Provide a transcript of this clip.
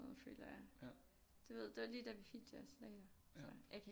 Føler jeg du ved det var lige da vi fik de der salater tror jeg jeg kan ikke